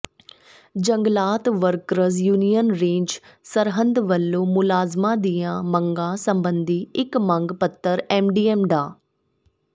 ਜੰਗਲਾਤ workers union range Sirhind ਵਲੋਂ ਮੁਲਾਜ਼ਮਾਂ ਦੀਆਂ ਮੰਗਾਂ ਸਬੰਧੀ ਇੱਕ ਮੰਗ ਪੱਤਰ ਐੱਸਡੀਐੱਮ ਡਾ